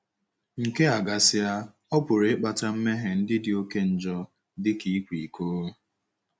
Nke a gasịa, ọ pụrụ ịkpata mmehie ndị dị oké njọ, dị ka ịkwa iko.